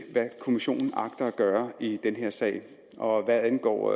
hvad kommissionen agter at gøre i den her sag og hvad angår